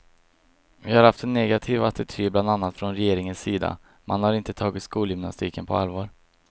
Vi har haft en negativ attityd bland annat från regeringens sida, man har inte tagit skolgymnastiken på allvar.